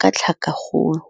ka tlhakakgolo.